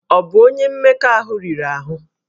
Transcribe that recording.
Ọ bụ onye mmekọahụ riri ahụ?